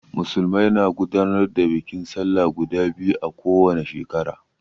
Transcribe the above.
Musulmai na gudanar da bikin sallah guda biyu a ko wane shekara.